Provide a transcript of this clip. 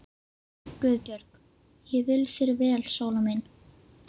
GUÐBJÖRG: Ég vil þér vel, Sóla mín.